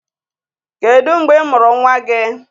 Kedu mgbe ị mụrụ nwa gị?